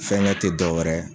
Fɛnkɛ tɛ dɔ wɛrɛ.